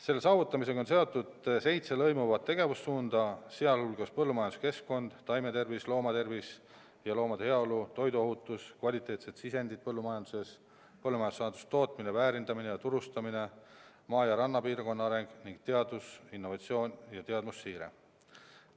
Selle saavutamisega on seotud seitse lõimuvat tegevussuunda, sh põllumajanduskeskkond, taimetervis, loomade tervis ja heaolu, toiduohutus, kvaliteetsed sisendid põllumajanduses, põllumajandussaaduste tootmine, väärindamine ja turustamine, maa- ja rannapiirkonna areng ning teadusinnovatsioon ja teadmussiire.